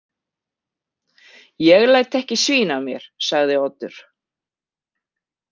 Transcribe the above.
Ég læt ekki svína á mér, sagði Oddur.